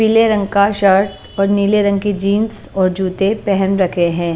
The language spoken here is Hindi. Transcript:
पीले रंग का शर्ट और नीले रंग की जींस और जूते पहन रखे हैं।